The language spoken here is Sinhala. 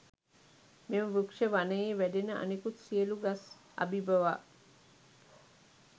මෙම වෘක්ෂ වනයේ වැඩෙන අනෙකුත් සියලු ගස් අභිභවා